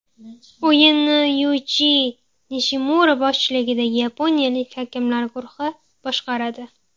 O‘yinni Yuichi Nishimura boshchiligidagi yaponiyalik hakamlar guruhi boshqaradi.